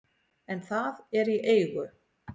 en það er í eigu